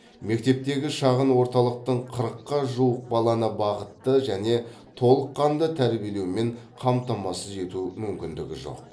мектептегі шағын орталықтың қырыққа жуық баланы бағытты және толыққанды тәрбиелеумен қамтамасыз ету мүмкіндігі жоқ